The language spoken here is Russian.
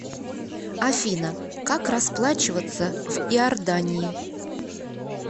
афина как расплачиваться в иордании